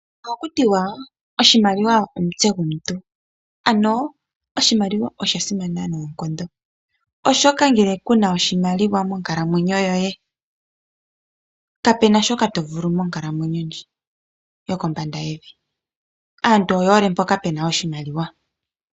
Ohaku tiwa oshimaliwa omutse gomuntu ano oshimaliwa sha simana noonkondo, oshoka ngele kuna oshimaliwa monkalamwenyo yoye kapena shoka to vulu monkalamwenyo ndji yoko mbanda yevi aantu oye hole mpoka pena oshimaliwa.